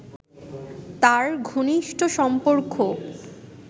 তাঁর ঘনিষ্ঠ সম্পর্ক